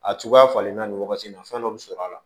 A cogoya falenlen na nin wagati in na fɛn dɔ bɛ sɔr'a la